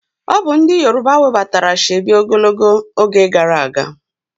Obu ndi yoruba webatara Ashoebi ogologo oge gara aga